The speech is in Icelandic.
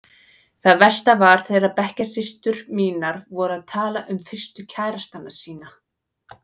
Það versta var þegar bekkjarsystur mínar voru að tala um fyrstu kærastana sína.